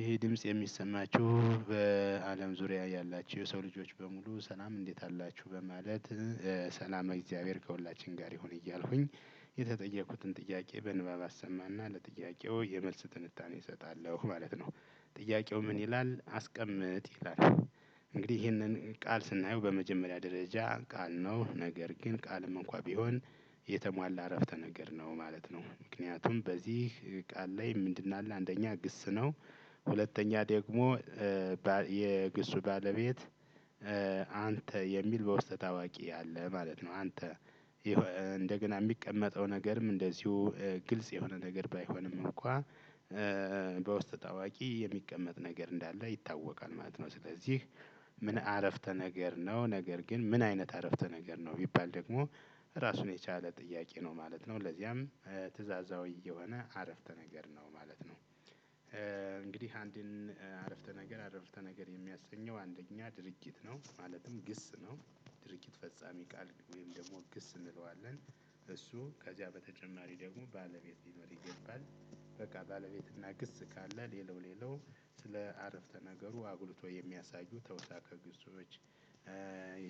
ይሄ ድምጽ የሚሰማችሁ በአለም ዙሪያ ያላችሁ የሰው ልጆች በሙሉ ሰላም እንዴት አላችሁ በማለት ሰላም እግዚአብሔር ከሁላችን ጋር ይሁን እያልኩኝ የተጠየቁትን ጥያቄ በንባብ አሰማ እና ለጥያቄው የመልስ ትንታኔ እሰጣለሁ ማለት ነው። ጥያቄው ምን ይላል? አስቀምጥ ይላል እንግዲህ ይሄንን ቃል ስናየው በመጀመሪያ ደረጃ ቃል ነው ነገር ግን ቃልም እንኳን ቢሆን የተሟላ እረፍተ ነገር ነው ማለት ነው ምክንያቱም በዚህ ቃል ላይ ምንድን አለ አንደኛ ግስ ነው ሁለተኛ ደግሞ የግስ ባለቤት አንተ የሚል በውስጠ ታዋቂ አለ ማለት ነው። አንተ እንደገና የሚቀመጠው ነገርም እንደዚሁ ግልጽ የሆነ ነገር ባይሆንም እንኳን በውስጠ ታዋቂ የሚቀመጥ ነገር እንዳለ ይታወቃል ማለት ነው ስለዚህ ምን አረፍተ ነገር ነው ነገር ግን ምን አይነት አረፍተ ነገር ነው ቢሚባል ደግሞ ራሱን የቻለ ጥያቄ ነው ማለት ነው ለዚያም ትእዛዛዊ የሆነ አረፍተ ነገር ነው ማለት ነው። አንድን አረፍተ ነገር አረፍተ ነገር የሚያሰኘው አንደኛ ድርጅት ነው ማለትም ግስ ነው ድርጊት ፈጻሚ ቃል ወይም ደግሞ ግስ እንለዋለን እሱ ከዚያ በተጨማሪ ደግሞ ባለቤት ሊኖር ይገባል በቃ ባለቤት እና ግስ ካለ ሌላው ሌላው ስለ አረፍተ ነገሩ አጉልቶ የሚያሳዩ ተውሳከ ግሶች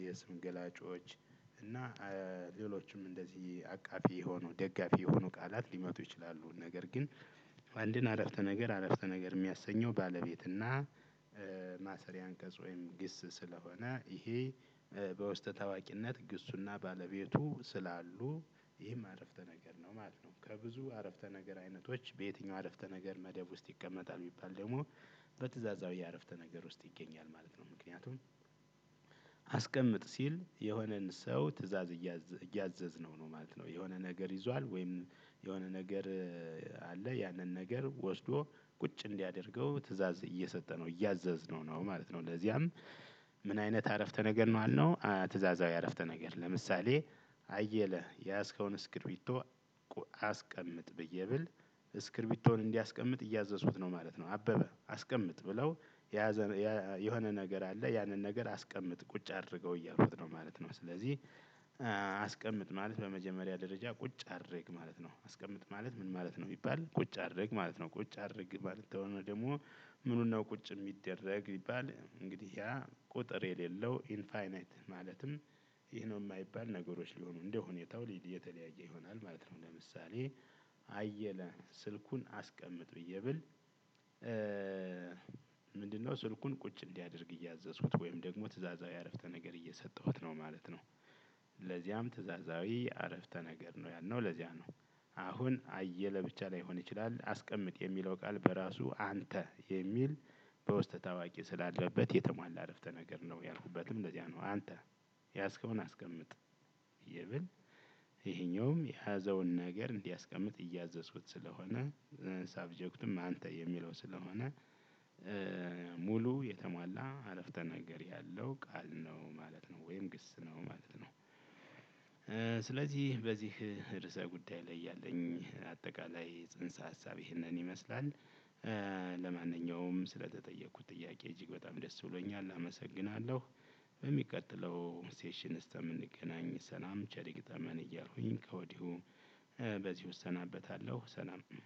የስም ገላጮች እና ሌሎችም እንደዚህ አቃፊ የሆኑ ደጋፊ የሆኑ ቃላት ሊመጡ ይችላሉ ነገር ግን አንድን አረፍተ ነገር አረፍተ ነገር የሚያሰኘው ባለቤት እና ማሰሪያ አንቀጽ ወይም ግስ ስለሆነ ይሄ በውስጥ ታዋቂነት ግሱና ባለቤቱ ስላሉ ይህም አረፍተ ነገር ነው ማለት ነው። ከብዙ አረፍተ ነገር አይነቶች በየትኛው አረፍተ ነገር መደብ ውስጥ ይቀመጣል ቢሚባል ደግሞ በትእዛዛው የአረፍተ ነገር ውስጥ ይገኛል ማለት ነው ምክንያቱም አስቀምጥ ሲል የሆነን ሰው ትእዛዝ እያዘዝነው ነው ማለት ነው የሆነ ነገር ይዟል ወይም የሆነ ነገር ካለ ያነን ነገር ወስዶ ቁጭ እንዲያደርገው ተእዛዝ እየሰጠነው፣ እያዘዝነው ማለት ነው ለዛም ምን አይነት አረፍተ ነገር ነው አለው ትእዛዛዊ አረፍተ ነገር ለምሳሌ አየለ የያዝከውን እስክሪቶ አስቀምጥ? ብዬ ብል እስክሪቢቶን እንዲያስቀምጥ እያዘዙኩት ነው ማለት ነው። አበበ አስቀምጥ ብለው የሆነ ነገር አለ ያንን ነገር አስቀምጥ ቁጭ አድርገው እያልኩት ነው ማለት ነው ስለዚህ አስቀምጥ ማለት በመጀመሪያ ደረጃ ቁጭ አድርግ ማለት ነው። አስቀምጥ ማለት ምን ማለት ነው? ቢሚባል ቁጭ አድርግ ማለት ነው ቁጭ አድርግ ማለት ነው ደግሞ ምኑን ነው ቁጭ የሚደረግ ቢባል እንግዲህ ያ ቁጥር የሌለው ኢንፋይናይት ይሄ ነው የማይባል ነገሮች ሊሆኑ እንደሁኔታው ሊድ የተለያየ ይሆናል ማለት ነው ለምሳሌ አየለ ስልኩን አስቀምጥ? ብዬ ብል ምንድነው ስልኩን ቁጭ እንዲያደርግ እያዘዝኩት ወይም ደግሞ ትእዛዛዊ አረፍተ ነገር እየሰጠሁት ነው ማለት ነው። ለዚያም ትእዛዛዊ አረፍተ ነገር ነው ያልነው ለዚያ ነው። አሁን አየለ ብቻ ላይሆን ይችላል አስቀምጥ የሚለው ቃል በራሱ አንተ የሚል በውስጠ ታዋቂ ስላለበት የተሟላ አረፍተ ነገር ነው ያልኩበትም እንደዚያ ነው አንተ ያዝከውን አስቀምጥ ብየ ብል ይሄኛውም የያዘውን ነገር እንዲያስቀምጥ እያዘዝኩት ስለሆነ ሳብጀክትም አንተ የሚለው ስለሆነ እ ሙሉ የተሟላ አረፍተ ነገር ያለው ቃል ነው ማለት ነው ወይም ግስ ነው ማለት ነው ስለዚህ በዚህ ርዕሰ ጉዳይ ላይ ያለኝ አጠቃላይ ጽንሰ ሀሳብ ይህንን ይመስላል። ስለተጠየኩት ጥያቄ እጅግ በጣም ደስ ብሎኛል አመሰግናለሁ። በሚቀጥለው ሴሽን እስከምንገናኝ ሰላም ቸር ያክርመን እያልኩ ከውዲሁ በዚሁ እስናበታለሁ ሰላም ሁኑ